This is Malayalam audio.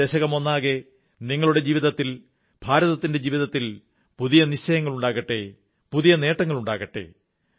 ഈ ദശകമൊന്നാകെ നിങ്ങളുടെ ജീവിതത്തിൽ ഭാരതത്തിന്റെ ജീവിതത്തിൽ പുതിയ നിശ്ചയങ്ങളുണ്ടാകട്ടെ പുതിയ നേട്ടങ്ങളുണ്ടാകട്ടെ